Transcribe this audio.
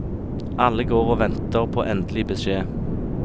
Alle går og venter på endelig beskjed.